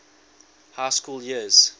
high school years